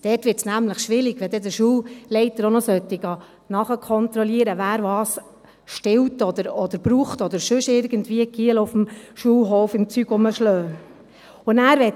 Dort wird es nämlich schwierig, wenn ein Schulleiter auch noch kontrollieren sollte, wer was stiehlt oder braucht oder sonst wie von den Knaben auf dem Schulhof herumgeschlagen wird.